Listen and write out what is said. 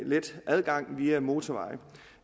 let adgang via en motorvej